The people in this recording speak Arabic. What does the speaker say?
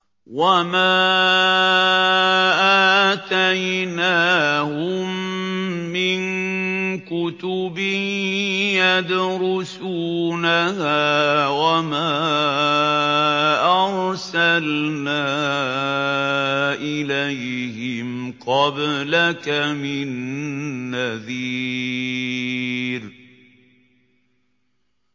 وَمَا آتَيْنَاهُم مِّن كُتُبٍ يَدْرُسُونَهَا ۖ وَمَا أَرْسَلْنَا إِلَيْهِمْ قَبْلَكَ مِن نَّذِيرٍ